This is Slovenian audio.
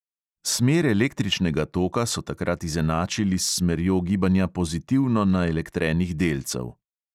Smer električnega toka so takrat izenačili s smerjo gibanja pozitivno naelektrenih delcev.